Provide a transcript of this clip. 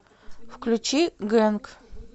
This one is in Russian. включи гэнк